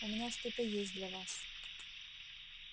у меня что-то есть для вас